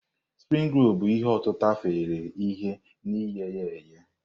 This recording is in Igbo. Spring rolu bụ ihe otịtà afanyere ihe na ghe ya eghe.